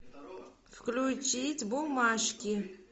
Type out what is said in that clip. включить бумажки